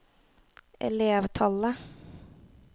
elevtallet